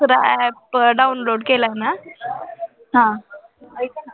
दूसरा app download केलाय ना.